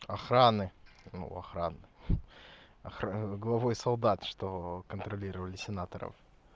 охраны охрана охрана главой солдат что контролировали сенаторов